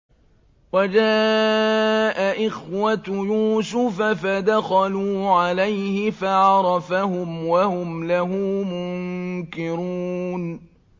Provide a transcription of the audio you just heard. وَجَاءَ إِخْوَةُ يُوسُفَ فَدَخَلُوا عَلَيْهِ فَعَرَفَهُمْ وَهُمْ لَهُ مُنكِرُونَ